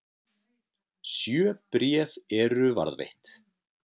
sjö bréf eru varðveitt